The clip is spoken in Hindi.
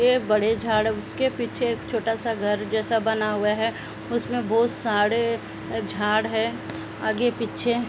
ए बड़े झाड़ उसके पीछे एक छोटा सा घर जैसा बना हुआ है उसमें बहु साडे न् झाड़ है। आगे पीछे --